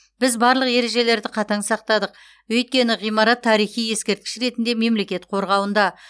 біз барлық ережелерді қатаң сақтадық өйткені ғимарат тарихи ескерткіш ретінде мемлекет қорғауында